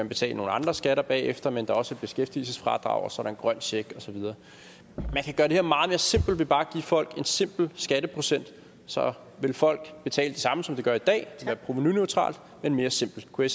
betale nogle andre skatter bagefter men der er også et beskæftigelsesfradrag og en grøn check og så videre man kan gøre det her meget mere simpelt ved bare at give folk en simpel skatteprocent så vil folk betale det samme som de gør i dag det provenuneutralt men mere simpelt kunne